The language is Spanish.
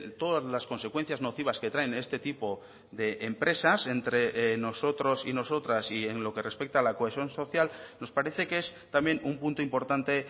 todas las consecuencias nocivas que traen este tipo de empresas entre nosotros y nosotras y en lo que respecta a la cohesión social nos parece que es también un punto importante